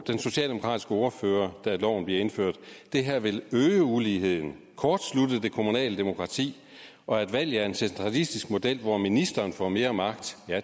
den socialdemokratiske ordfører da loven blev indført det her vil øge uligheden kortslutte det kommunale demokrati og valget af en centralistisk model hvor ministeren får mere magt